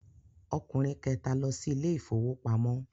Ọkùnrin kẹta lọ sí ilé ìfowópamọ́.